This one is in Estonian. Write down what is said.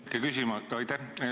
Aitäh!